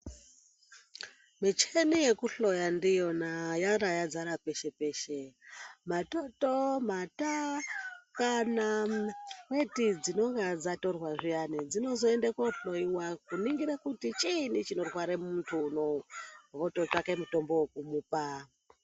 Micheni yekuhloya ndiyona yarayadzara peshe-peshe matoto, mata, kana weti dzinonga dzatorwa zviyani dzinozoende kohloiwa, kuringira kuti chiini chinorwara muntu unouyu, vototsvaka mutombo wekumupa.